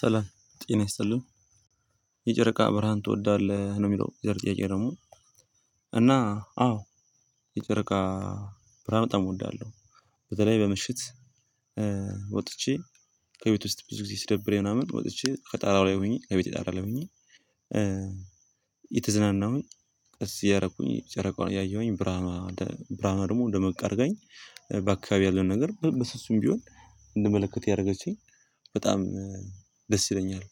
ሰላም ጤና ይስጥልን የጨረቃ ብርሃን ትወዳለህ? ነው የሚለው የዛሬ ጥያቄ ደግሞ እና አዎ ይጨረቃ ብርሃን በጣም እወዳለው በተለይ በምሽት ወጥቼ ከቤት ውስጥ ብዙ ጊዜ ስደብረኝ ምናምን ወጥቼ ከጣራው ላይ ሆኜ ከቤት ጣራ ላይ ሆኜ የተዝናናሁኝ እዚህ እያረኩኝ ጨረቃውን እያየሁኝ ብርሃኑ ብርሃኑ ደግሞ ደመቅ አርጋኝ በአከባቢው ያለ ነገር በስሱም ቢሆን እንዲመለከት ያረገችኝ በጣም ደስ ይለኛል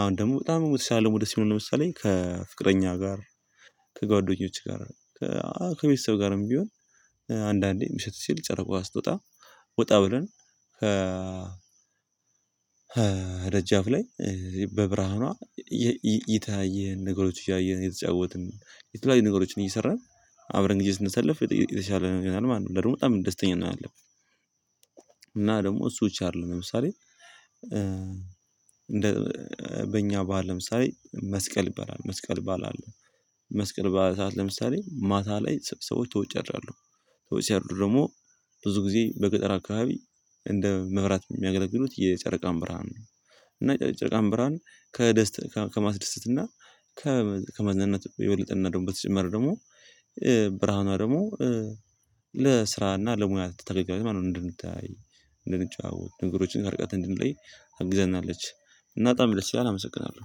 አሁን ደግሞ በጣም የሞተ ሳለሙ ደስ ይለኛል ለምሳሌ ከፍቅረኛ ጋር ከጓደኞች ጋር ከቤተሰብ ጋርም ቢሆን አንዳንዴ መሸጥ ሲል ጨረቃ ስትወጣ ወጣ ብለን ደጃፍ ላይ በብርሃኗ ይታየን ነገሮች እያየን አየተጫወትን የተለያዩ ነገሮችን እየሰራን አብረን ግዜ ስንሰለፍ የተሻለ ነገር ማለት ነው። ደግሞ በጣም ደስተኛ ነው ያለብን ደግሞ እሱ ብቻ አይደለም ለምሳሌ እንደ በእኛ በዓል ለምሳሌ መስቀል ይባላል መስቀል ይባላል። መስቀል ባዓል ሰዓት ለምሳሌ ማታ ላይ ሰዎች ተወጨራለሁ ሰዎች ሲያደርጉ ደግሞ ብዙ ጊዜ በገጠር አከባቢ እንደ መብራት የሚያገለግሉት የጨረቃን ብርሃን ነው እና የጨረቃን ብርሃን ከደስታ ከማስደሰትና ከመዝናናት የወለጠንና ደግሞ በተጨመረ ደግሞ ብርሃኗ ደግሞ ለስራና ለሙያ ተጠቅቃቂ ማነው እንድንታይ እንድንጫወት ነገሮችን አርቃት እንድንለይ አግዘናለች እና በጣም ደስ ይላል አመሰግናለሁ።